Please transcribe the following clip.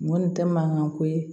N kɔni tɛ mankan ko ye